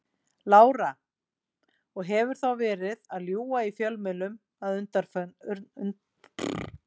Lára: Og hefur þá verið að ljúga í fjölmiðlum að undanförnu?